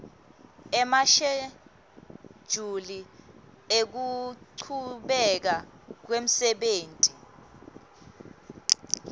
emashejuli ekuchubeka kwemsebenti